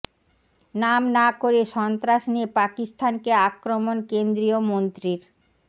নাম না করে সন্ত্রাস নিয়ে পাকিস্তানকে আক্রমণ কেন্দ্রীয় মন্ত্রীর